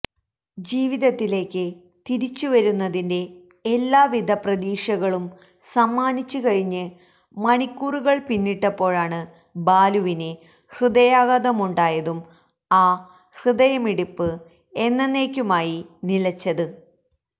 ജീവിതത്തിലേക്ക് തിരിച്ച് വരുന്നതിന്റെ എല്ലാവിധ പ്രതീക്ഷകളും സമ്മാനിച്ച് കഴിഞ്ഞ് മണിക്കൂറുകള് പിന്നിട്ടപ്പോഴാണ് ബാലുവിന് ഹൃദയാഘാതമുണ്ടായതും ആ ഹൃദയമിടിപ്പ് എന്നന്നേക്കുമായി നിലച്ചത്